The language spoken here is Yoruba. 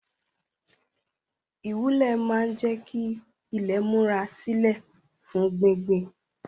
Ìwúlẹ̀ máa ń jẹ́ kí ilé múra sílè fún gbíngbìn